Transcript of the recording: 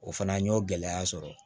O fana n y'o gɛlɛya sɔrɔ